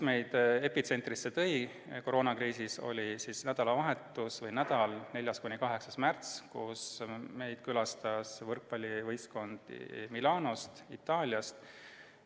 Epitsentrisse tõid meid koroonakriisis nädalapäevad 4.–8. märtsini, kui meid külastas võrkpallivõistkond Itaaliast Milanost.